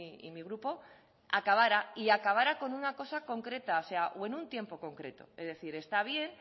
y mi grupo acabara y acabara con una cosa concreta o sea o en un tiempo concreto es decir está bien